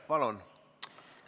Palun!